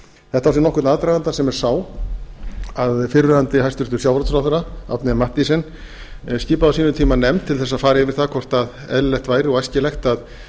þetta á sér nokkurn aðdraganda sem er sá að fyrrverandi hæstvirtur sjávarútvegsráðherra árni m mathiesen skipaði á sínum tíma nefnd til þess að fara yfir það hvort eðlilegt væri og æskilegt að